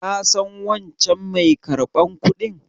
Ka san wancan mai karɓar kudin?